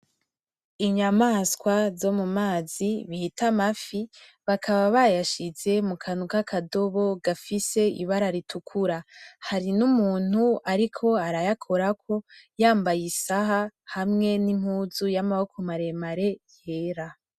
Inyamaswa zo mumazi bita amafi bakaba bayashize mukadobo gafise Ibara ritukura hari n'umuntu ariko arayakorako yambaye Isahani hamwe n'impuzu y'Amaboko maremare yera.